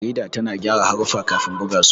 Jarida tana gyara haruffa kafin buga su.